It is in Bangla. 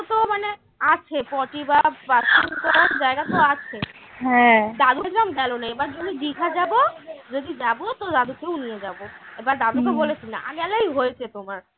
আছে পটি বা bathroom করার জায়গা তো আছে দদুকে গেল না এবার যখন দিঘা যাব যদি যাবো তো দাদুকেও নিয়ে যাব এবার দাদুকে বলেছি না গেলেই হয়েছে তোমার